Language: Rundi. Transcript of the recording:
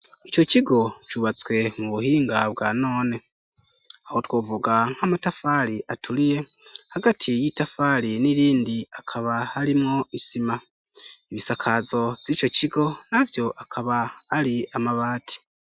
Ico kigo cubatswe mu buhinga bwa none. Aho twovuga nk'amatafari aturiye, hagati y'itafari n'irindi hakaba harimwo isima. Ibisakazo vy'ico kigo, navyo akaba ari amabati.